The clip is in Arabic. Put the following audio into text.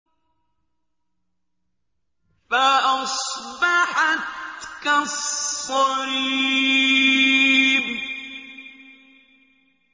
فَأَصْبَحَتْ كَالصَّرِيمِ